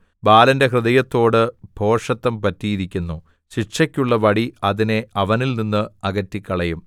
ബാലന്റെ ഹൃദയത്തോട് ഭോഷത്തം പറ്റിയിരിക്കുന്നു ശിക്ഷയ്ക്കുള്ള വടി അതിനെ അവനിൽനിന്ന് അകറ്റിക്കളയും